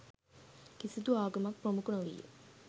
කිසිදු ආගමක් ප්‍රමුඛ නොවීය